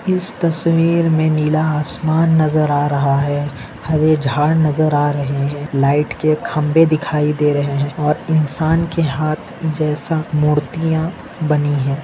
इस तस्वीर मे नीला आसमान नज़र आ रहा है हरे झाड नज़र आ रहे है लाइट के खंबे दिखाई दे रहे है और इसान के हाथ जैसा मूर्तिया बनी है।